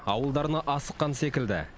ауылдарына асыққан секілді